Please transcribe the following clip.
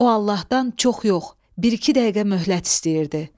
O Allahdan çox yox, bir-iki dəqiqə möhlət istəyirdi.